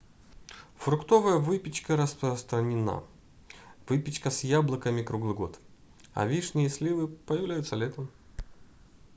фруктовая выпечка распространена выпечка с яблоками круглый год а вишни и сливы появляются летом